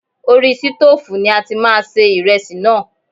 Orí sítófùn ni a ti máa se iresi náà.